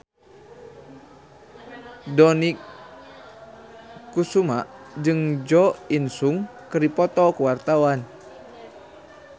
Dony Kesuma jeung Jo In Sung keur dipoto ku wartawan